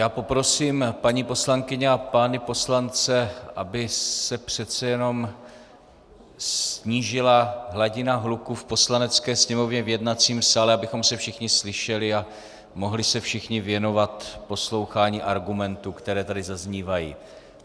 Já poprosím paní poslankyně a pány poslance, aby se přece jenom snížila hladina hluku v Poslanecké sněmovně, v jednacím sále, abychom se všichni slyšeli a mohli se všichni věnovat poslouchání argumentů, které tady zaznívají.